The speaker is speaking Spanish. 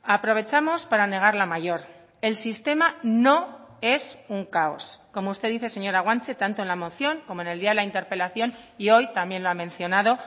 aprovechamos para negar la mayor el sistema no es un caos como usted dice señora guanche tanto en la moción como en el día de la interpelación y hoy también lo ha mencionado